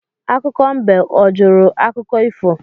Akụkọ mbe o jụrụ akụkọ ifo?